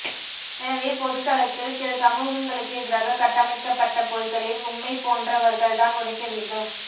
எனவே பொதுத் தளத்தில் சில சமூகங்களுக்கு எதிராக கட்டமைக்கப்பட்ட பொய்களை உம்மைப்போன்றவர்கள் தான் உடைக்க வேண்டும்